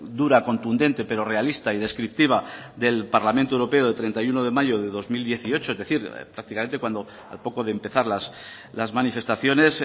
dura contundente pero realista y descriptiva del parlamento europeo de treinta y uno de mayo de dos mil dieciocho es decir prácticamente cuando al poco de empezar las manifestaciones